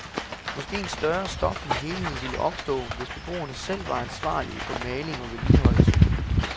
Måske en større stoflig helhed ville opstå, hvis beboerne selv var ansvarlige for maling og vedligeholdelse.